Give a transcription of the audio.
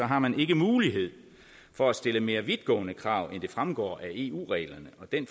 har man ikke mulighed for at stille mere vidtgående krav end det fremgår af eu reglerne og den